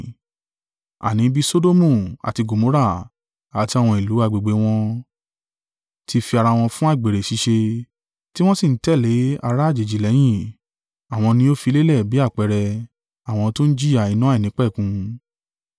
Àní bí Sodomu àti Gomorra, àti àwọn ìlú agbègbè wọn, ti fi ara wọn fún àgbèrè ṣíṣe, tí wọ́n sì ń tẹ̀lé ará àjèjì lẹ́yìn, àwọn ni ó fi lélẹ̀ bí àpẹẹrẹ, àwọn tí ó ń jìyà iná àìnípẹ̀kun.